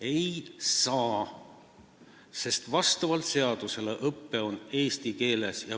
Ei saa, sest vastavalt seadusele on õpe eesti keeles.